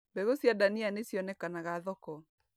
Mbegũ cia ndania nĩ cionekanaga thoko.